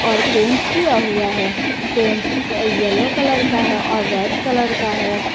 और पेंट किया हुआ है पेंट का येलो कलर का है और रेड कलर का है।